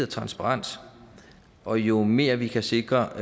transparens og jo mere vi kan sikre